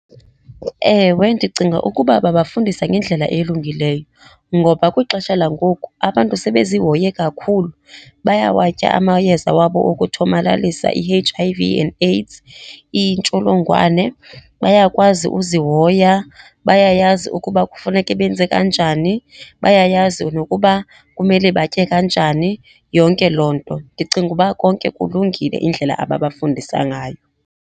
Ewe, ndicinga ukuba babafundisa ngendlela elungileyo ngoba kwixesha langoku abantu sebezihoye kakhulu. Bayawatya amayeza wabo okuthomalalisa i-H_I_V and AIDS, intsholongwane. Byakwazi uzihoya, bayayazi ukuba kufuneke benze kanjani, bayayazi nokuba kumele batye kanjani, yonke loo nto. Ndicinga uba konke kulungile indlela ababafundisa ngayo.